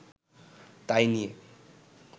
তাই নিয়ে